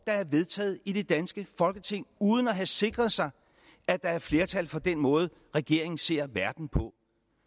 der er vedtaget i det danske folketing uden at have sikret sig at der er flertal for den måde regeringen ser verden på